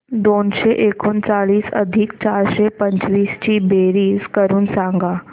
दोनशे एकोणचाळीस अधिक चारशे पंचवीस ची बेरीज करून सांगा